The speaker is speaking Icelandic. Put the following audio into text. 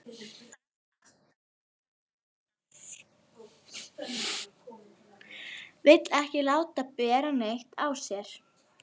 Guðjóna, einhvern tímann þarf allt að taka enda.